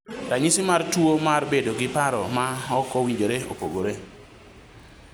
ranyisi mar tuwo mar bedo gi paro ma ok owinjore opogore